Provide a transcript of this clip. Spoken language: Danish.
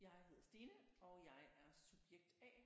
Jeg hedder Stine og jeg er subjekt A